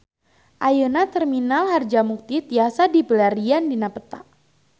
Ayeuna Terminal Harjamukti tiasa dipilarian dina peta